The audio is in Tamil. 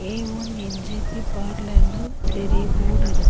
ஏ ஒன் என் ஜே பி பார்லர்னு பெரிய போடுருக் --